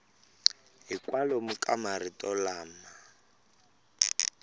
hi kwalomu ka marito lama